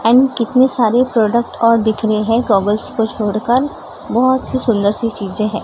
And कितनी सारी product और दिख रही है गॉगल्स को छोड़कर बहोत सी सुंदर सी चीजें है।